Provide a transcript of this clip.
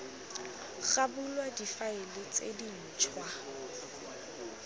ga bulwa difaele tse dintšhwa